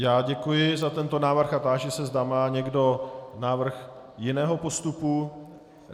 Já děkuji za tento návrh a táži se, zda má někdo návrh jiného postupu.